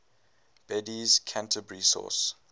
bede's canterbury source